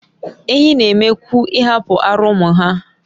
Ehi n'eme kwu ihapu ara umu ha